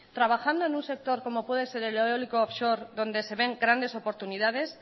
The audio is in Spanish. trabajando en un sector como puede ser el eólico offshore donde se ven grandes oportunidades